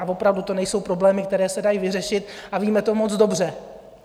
A opravdu to nejsou problémy, které se dají vyřešit, a víme to moc dobře.